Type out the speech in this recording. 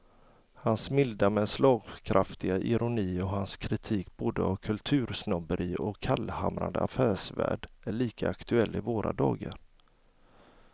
Hans milda men slagkraftiga ironi och hans kritik både av kultursnobberi och av kallhamrad affärsvärld är lika aktuell i våra dagar.